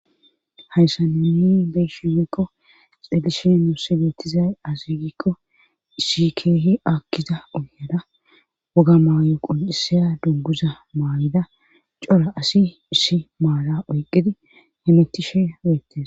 hayssa nuni beyshiumekko xelishe nuusse geettizay asigikko issi keehi akkiza uhyada woga maayo qul7isiya dubbuza maayida cora asi issi maala oyqqidi hemetishe weyettes